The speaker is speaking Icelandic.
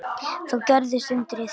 Þá gerðist undrið.